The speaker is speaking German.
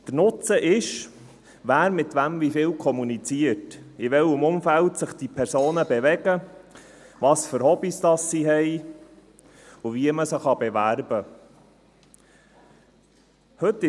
Der Nutzen ist, wer mit wem wie viel kommuniziert, in welchem Umfeld sich diese Personen bewegen, welche Hobbys sie haben und wie man sie bewerben kann.